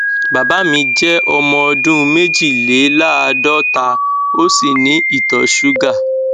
bàbá mi jẹ ọmọ ọdún méjìléláàádọta ó sì ní ìtọ ṣúgà